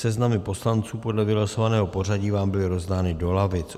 Seznamy poslanců podle vylosovaného pořadí vám byly rozdány do lavic.